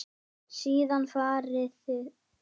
Síðan farið út.